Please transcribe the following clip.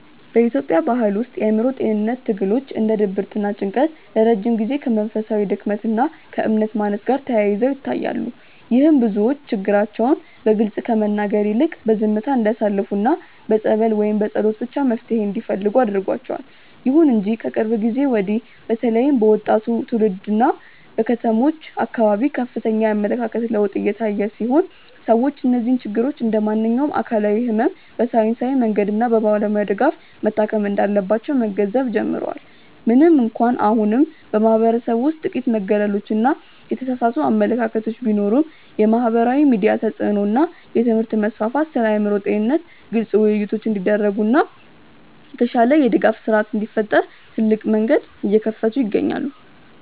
በኢትዮጵያ ባሕል ውስጥ የአእምሮ ጤንነት ትግሎች እንደ ድብርትና ጭንቀት ለረጅም ጊዜ ከመንፈሳዊ ድክመት ወይም ከእምነት ማነስ ጋር ተያይዘው ይታያሉ። ይህም ብዙዎች ችግራቸውን በግልጽ ከመናገር ይልቅ በዝምታ እንዲያሳልፉና በጸበል ወይም በጸሎት ብቻ መፍትሔ እንዲፈልጉ አድርጓቸዋል። ይሁን እንጂ ከቅርብ ጊዜ ወዲህ በተለይም በወጣቱ ትውልድና በከተሞች አካባቢ ከፍተኛ የአመለካከት ለውጥ እየታየ ሲሆን፣ ሰዎች እነዚህን ችግሮች እንደ ማንኛውም አካላዊ ሕመም በሳይንሳዊ መንገድና በባለሙያ ድጋፍ መታከም እንዳለባቸው መገንዘብ ጀምረዋል። ምንም እንኳን አሁንም በማኅበረሰቡ ውስጥ ጥቂት መገለሎችና የተሳሳቱ አመለካከቶች ቢኖሩም፣ የማኅበራዊ ሚዲያ ተጽዕኖ እና የትምህርት መስፋፋት ስለ አእምሮ ጤንነት ግልጽ ውይይቶች እንዲደረጉና የተሻለ የድጋፍ ሥርዓት እንዲፈጠር ትልቅ መንገድ እየከፈቱ ይገኛሉ።